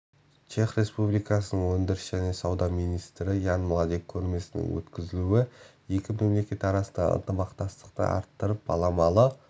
чех республикасының өндіріс және сауда министрі ян младек көрмесінің өткізілуі екі мемлекет арасындағы ынтымақтастықты арттырып баламалы